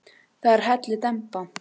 Það er komin hellidemba.